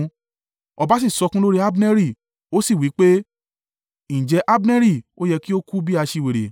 Ọba sì sọkún lórí Abneri, ó sì wí pé, “Ǹjẹ́ Abneri ó yẹ kí ó kú bí aṣiwèrè?